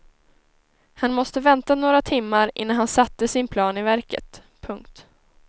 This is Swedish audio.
Han måste vänta några timmar innan han satte sin plan i verket. punkt